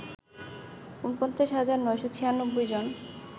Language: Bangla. ৪৯ হাজার ৯৯৬ জন